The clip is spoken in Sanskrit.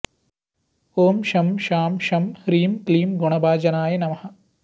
ॐ शं शां षं ह्रीं क्लीं गुणभाजनाय नमः